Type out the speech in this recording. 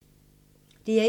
DR1